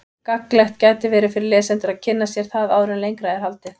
Gagnlegt gæti verið fyrir lesendur að kynna sér það áður en lengra er haldið.